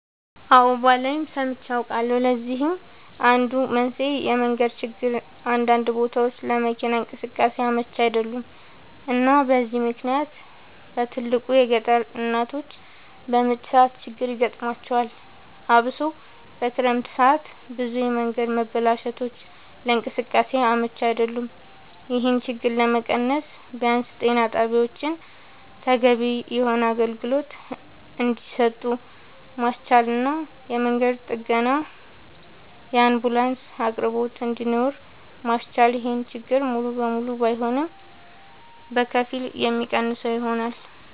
አወ ባላይም ሰምቼ አውቃለሁኝ ለዚህም አንዱ መንስኤ የመንገድ ችግር አንዳንድ ቦታወች ለመኪና እንቅስቃሴ አመች አይደሉም እና በዚህ ምክንያት በትልቁ የገጠር እናቶች በምጥ ሰዓት ችግር ይገጥማቸዋል አብሶ በክረምት ሰዓት ብዙ የመንገድ መበላሸቶች ለእንቅስቃሴ አመች አይደሉም ይሄን ችግር ለመቀነስ ቢያንስ ጤና ጣቢያወችን ተገቢውን የሆነ አገልግሎት እንድሰጡ ማስቻልና የመንገድ ጥገናና የአንቡላንስ አቅርቦት እንድኖር ማስቻል ይሄን ችግር ሙሉ ለሙሉ ባይሆንም በከፊል የሚቀንሰው ይሆናል